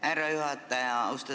Härra juhataja!